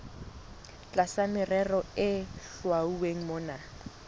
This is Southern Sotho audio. tlasa merero e hlwauweng mona